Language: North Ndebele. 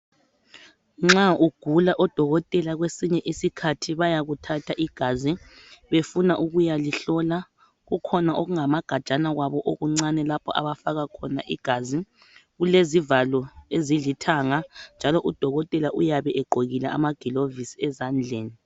Nxa ugula odokotela kwesinye isikhathi bayakuthatha igazi befuna ukuyalihlola. Kukhona okungamagajana kwabo okuncane lapho abafaka khona igazi. Kulezivalo ezilithanga njalo udokotela uyabe egqokile amagilovisi ezandleni.